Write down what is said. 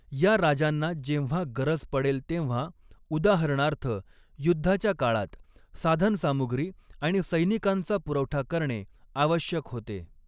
या राजांना जेव्हा गरज पडेल तेव्हा, उदाहरणार्थ युद्धाच्या काळात, साधनसामुग्री आणि सैनिकांचा पुरवठा करणे आवश्यक होते.